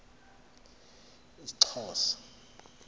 isxhosa